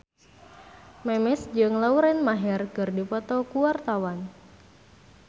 Memes jeung Lauren Maher keur dipoto ku wartawan